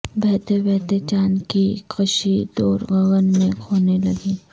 بہتے بہتے چاند کی کشی دور گگن میں کھونے لگی